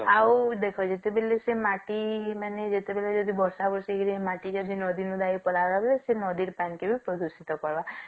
ଆଉ ଦେଖ ଯେତେବେଳେ ମାଟି ଯେତେବେଳେ ବର୍ଷା ବର୍ଷୀ ହେଇ ମାଟି ଯଦି ନଦୀ ସେ ନଦୀର ପାଣି କି ବି ପ୍ରଦୂଷିତ କରବା